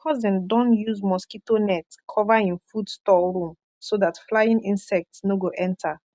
my cousin don use mosquito net cover him food store room so that flying insect no go enter